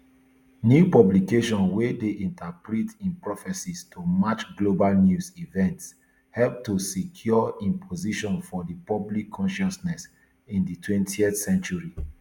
new publications wey dey interpret im prophecies to match global news events help to secure im position for di public consciousness in di twentyth century